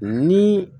Ni